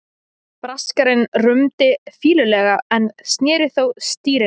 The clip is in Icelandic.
Braskarinn rumdi fýlulega en sneri þó stýrinu.